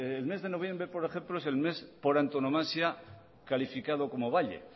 el mes de noviembre por ejemplo es el mes por antonomasia calificado como valle